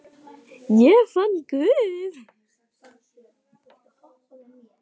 Ég fann Guð.